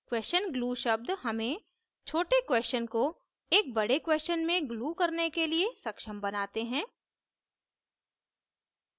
question glue शब्द हमें छोटे क्वेशन को एक बड़े क्वेशन में glue करने के लिए सक्षम बनाते हैं